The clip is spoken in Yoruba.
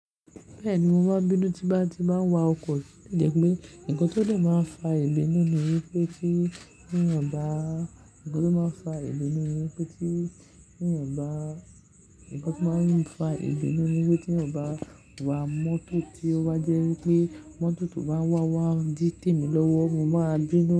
Bẹ́ẹ̀ni, mo máa bínú tí bá ti máa ń wa ọkọ̀, ó jẹ́ pé nǹkan tó dè máa ń fa ìbínú ni wípé tí ènìyàn bá, ǹkan tó máa ń fa ìbínú ni wípé tí ènìyàn bá, ǹkan tó máa ń fa ìbínú ni wípé tí ènìyàn bá wa mọ́tò tí ó wá jẹ́ wípé mọ́tò tó bá wá, wá n dí tèmi lọ́wọ́, mo máa bínú.